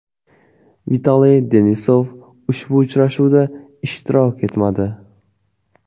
Vitaliy Denisov ushbu uchrashuvda ishtirok etmadi.